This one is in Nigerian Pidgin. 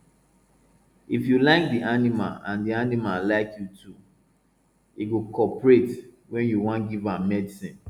if you like di animal and di animal like you too e go cooperate when you wan give am medicine